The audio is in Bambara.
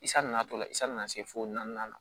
I san natɔla i san na se fo naani ma